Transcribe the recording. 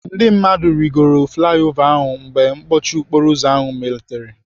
Ndị mmadụ rịgoro flai ova ahụ mgbe mkpọchi okporoụzọ ahụ malitere.